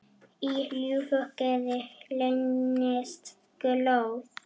Í ljúfu geði leynist glóð.